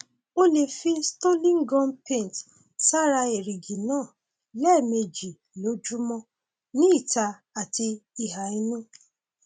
o lè fi stolin gum paint sára èrìgì náà lẹẹmejì lójúmọ ní ìta àti ìhà inú